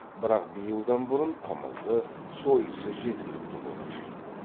бірақ биылдан бұрын қымызы сойысы жеткілікті болушы еді